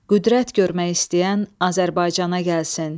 Qüdrət görmək istəyən Azərbaycana gəlsin.